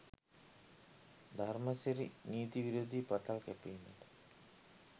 ධර්මසිරි නීති විරෝධී පතල් කැපීමට